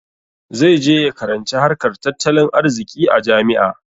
Zai je ya karanci harkar tattalin arziƙi a jami'a.